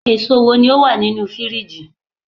eso wo ni o wa ninu firiji